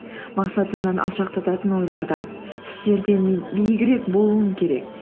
мақсатымнан алшақтатын ойлардан істерден мен биігірек болуым керек